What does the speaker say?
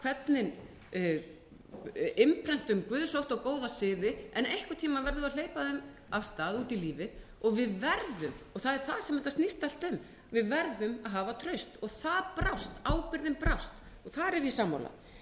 að við segjum þeim hvernig innprentum guðsótta og góða siði en einhvern tíma verðum við að hleypa þeim af stað út í lífið við verðum og það er það sem þetta snýst allt um við verðum að hafa traust það brást ábyrgðin brást og þar er ég sammála en